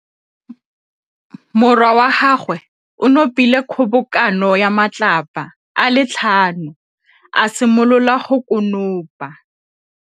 Morwa wa gagwe o nopile kgobokanô ya matlapa a le tlhano, a simolola go konopa.